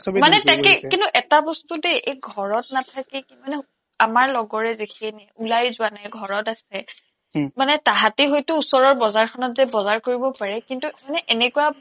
মানে তাকেই কিন্তু এটা বস্তু দেই এই ঘৰত নাথাকি কি মানে আমাৰ লগৰেই দেখি ওলাইয়েই যোৱা নাই ঘৰত আছে মানে তাহাঁতি হয়তো ওচৰৰ বজাৰখনত যে বজাৰ কৰিব পাৰে মানে কিন্তু এনেকুৱা